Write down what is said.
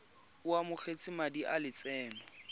o amogetse madi a lotseno